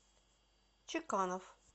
чеканов